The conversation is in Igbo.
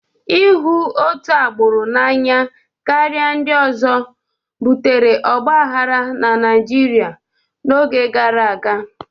Ịhụ otu agbụrụ n'anya karịa ndị ọzọ butere ọgbaghara na Naịjirịa n'oge gara aga.